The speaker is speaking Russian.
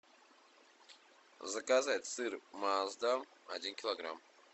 заказать сыр маасдам один килограмм